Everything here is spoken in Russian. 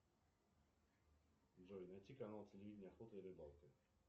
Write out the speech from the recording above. джой найти канал телевидения охота и рыбалка